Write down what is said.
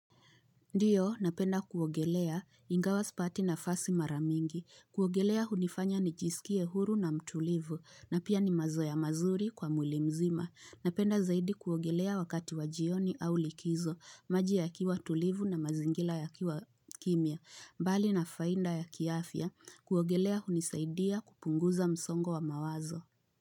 Ndiyo napenda kuogelea ingawa spati na fasi maramingi. Kuogelea hunifanya nijisikie huru na mtulivu na pia ni mazoea mazuri kwa mwilimzima. Napenda zaidi kuogelea wakati wajioni au likizo maji ya kiwa tulivu na mazingila ya kiwa kimia. Mbali na fainda ya kiafya kuogelea hunisaidia kupunguza msongo wa mawazo.